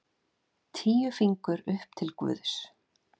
Tíu fingur upp til guðs.